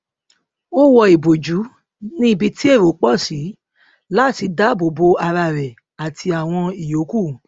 ó wọ ìbòjú ní ibi tí èrò pọ sí láti dá àbò bo ara rẹ àti àwọn ìyókù